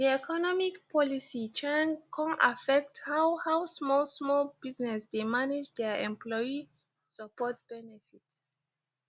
di economic policy chnag kon affect how how small small business dey manage their employee support benefits